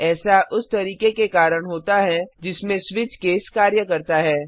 ऐसा उस तरीके के कारण होता है जिसमें स्विच केस कार्य करता है